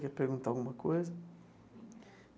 Quer perguntar alguma coisa?